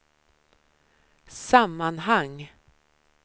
sammanhang